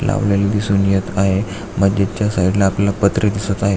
लावलेली दिसून येत आहे मस्जित च्या साइडला आपल्याला पत्रे दिसत आहेत.